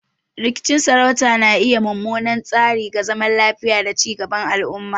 Rikicin sarauta na iya yin mummunan tasiri ga zaman lafiya da ci gaban al'umma.